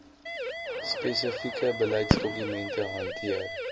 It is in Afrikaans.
spesifieke beleidsdokumente hanteer